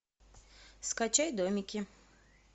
скачай домики